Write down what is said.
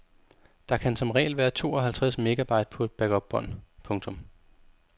Der kan som regel være to og halvtreds megabyte på et backupbånd. punktum